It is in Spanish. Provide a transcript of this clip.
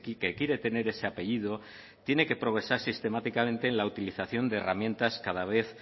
que quiere tener ese apellido tiene que progresar sistemáticamente en la utilización de herramientas cada vez